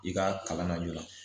I ka kalan na joona